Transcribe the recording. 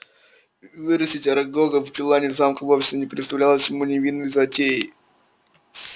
вырастить арагога в чулане замка вовсе не представлялось ему невинной затеей